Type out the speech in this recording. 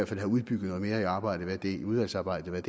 fald have udbygget noget mere i udvalgsarbejdet hvad